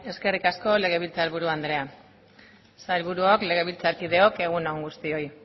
eskerrik asko legebiltzar buru andrea sailburuok legebiltzarkideok egun on guztioi